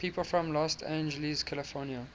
people from los angeles california